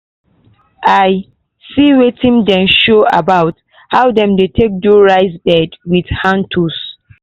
i see wetin dem show about how dem dey take do rice bed wit hand tools.